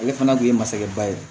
Ale fana kun ye masakɛ ba ye